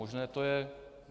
Možné to je.